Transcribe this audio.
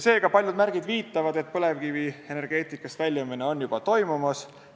Seega, paljud märgid viitavad, et põlevkivienergeetikast väljumine on juba toimumas.